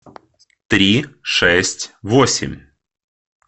три шесть восемь